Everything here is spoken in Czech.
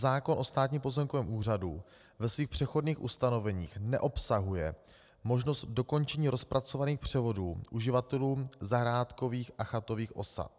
Zákon o Státním pozemkovém úřadu ve svých přechodných ustanoveních neobsahuje možnost dokončení rozpracovaných převodů uživatelům zahrádkových a chatových osad.